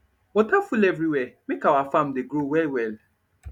water full everywhere make our farm dey grow well well